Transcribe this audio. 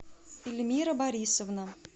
эльмира борисовна